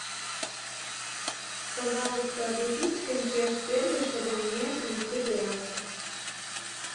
пожалуйста обратись в консьерж сервис чтобы мне принесли зарядку